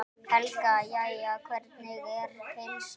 Helga: Jæja, hvernig er heilsan?